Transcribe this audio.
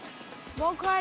vá hvað